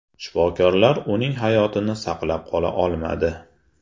Shifokorlar uning hayotini saqlab qola olmadi.